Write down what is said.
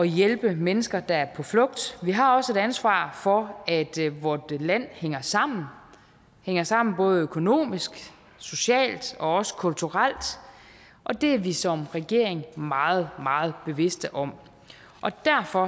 hjælpe mennesker der er på flugt vi har også et ansvar for at vort land hænger sammen hænger sammen både økonomisk socialt og også kulturelt og det er vi som regering meget meget bevidst om og derfor